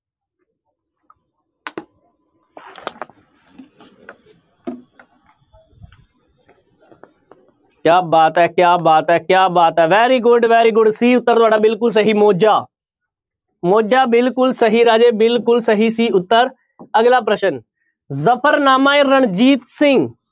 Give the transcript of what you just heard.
ਕਿਆ ਬਾਤ ਹੈ, ਕਿਆ ਬਾਤ ਹੈ, ਕਿਆ ਬਾਤ ਹੈ very good, very good c ਉੱਤਰ ਤੁਹਾਡਾ ਬਿਲਕੁਲ ਸਹੀ ਮੋਜਾ, ਮੋਜਾ ਬਿਲਕੁਲ ਸਹੀ ਰਾਜੇ ਬਿਲਕੁਲ ਸਹੀ c ਉੱਤਰ ਅਗਲਾ ਪ੍ਰਸ਼ਨ ਜਫ਼ਰਨਾਮਾ-ਏ-ਰਣਜੀਤ ਸਿੰਘ